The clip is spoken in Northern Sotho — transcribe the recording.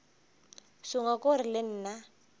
sengwe ke gore le nna